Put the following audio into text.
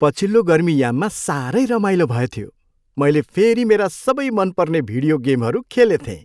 पछिल्लो गर्मी याममा साह्रै रमाइलो भएथ्यो। मैले फेरि मेरा सबै मनपर्ने भिडियो गेमहरू खेलेथेँ।